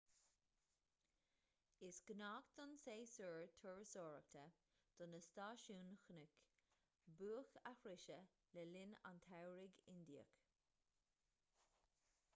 is gnách don séasúr turasóireachta do na stáisiúin chnoic buaic a shroicheadh le linn an tsamhraidh indiaigh